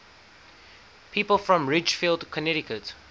people from ridgefield connecticut